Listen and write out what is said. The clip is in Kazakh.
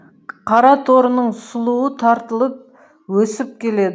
қараторының сұлуы тартылып өсіп келеді